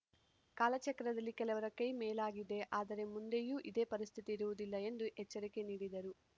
ಕಾಲ ಚಕ್ರದಲ್ಲಿ ಕೆಲವರ ಕೈ ಮೇಲಾಗಿದೆ ಆದರೆ ಮುಂದೆಯೂ ಇದೇ ಪರಿಸ್ಥಿತಿ ಇರುವುದಿಲ್ಲ ಎಂದು ಎಚ್ಚರಿಕೆ ನೀಡಿದರು